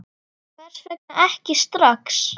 Hvers vegna ekki strax?